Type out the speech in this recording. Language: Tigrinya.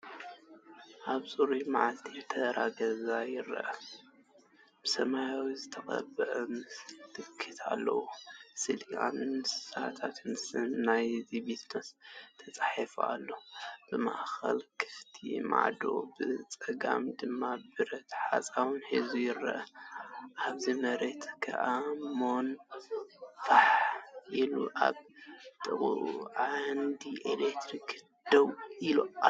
ኣብ ጽሩይ መዓልቲ ተራ ገዛ ይርአ። ብሰማያዊ ዝተቐብአ ምልክት ኣሎ፣ ስእሊ እንስሳታትን ስም ናይቲ ቢዝነስን ተጻሒፉሉ ኣሎ። ብማእከል ክፉት ማዕጾ ብጸጋም ድማ ብረት ሓጹር ሒዙ ይርአ። ኣብ መሬት ኣእማን ፋሕ ኢሉ ኣብ ጥቓኡ ዓንዲ ኤሌክትሪክ ደው ኢሉ ኣሎ።